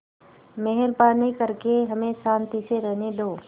मेहरबानी करके हमें शान्ति से रहने दो